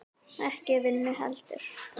Ekki vinnu heldur.